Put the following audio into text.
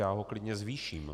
Já ho klidně zvýším.